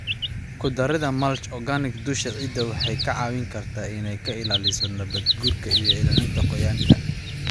Ku darida mulch organic dusha ciidda waxay kaa caawin kartaa inay ka ilaaliso nabaad-guurka iyo ilaalinta qoyaanka.